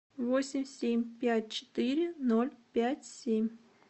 восемь семь пять четыре ноль пять семь